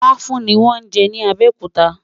làfùn ní wón jé ní abéòkúta